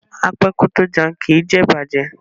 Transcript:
A pẹ ko to jẹun, kii jẹ ibajẹ